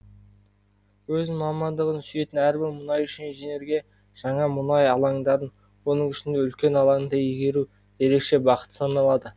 өз мамандығын сүйетін әрбір мұнайшы инженерге жаңа мұнай алаңдарын оның ішінде үлкен алаңды игеру ерекше бақыт саналады